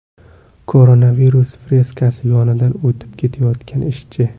Koronavirus freskasi yonidan o‘tib ketayotgan ishchi.